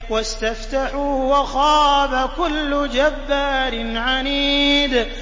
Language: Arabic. وَاسْتَفْتَحُوا وَخَابَ كُلُّ جَبَّارٍ عَنِيدٍ